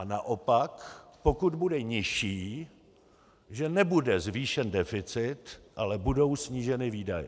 A naopak, pokud bude nižší, že nebude zvýšen deficit, ale budou sníženy výdaje.